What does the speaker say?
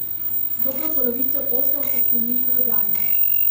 Dobro polovico poslov so sklenili v Ljubljani.